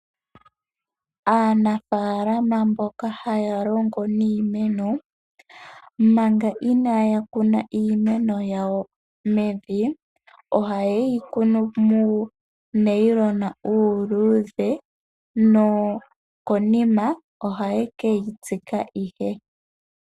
Aanafaalama mboka haya longo niimeno manga inaaya kuna iimeno yawo mevi ohaye yi kunu muunayilona uuluudhe, nokonima ohaye ke yi tsika ihe.